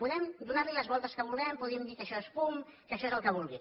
podem donar li les voltes que vulguem podem dir que això és fum que això és el que vulgui